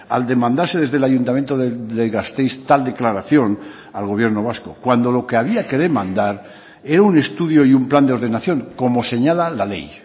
al demandarse desde el ayuntamiento de gasteiz tal declaración al gobierno vasco cuando lo que había que demandar era un estudio y un plan de ordenación como señala la ley